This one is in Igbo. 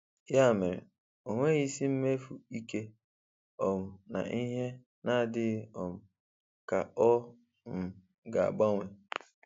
Ya mere, onweghị isi imefu ike um na ihe n'adịghị um ka ọ um ga agbanwe.